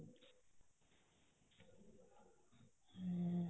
ਹਾਂ